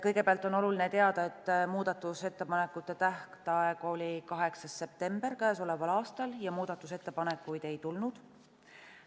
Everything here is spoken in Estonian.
Kõigepealt on oluline teada, et muudatusettepanekute tähtaeg oli 8. septembril k.a ja muudatusettepanekuid ei tulnud.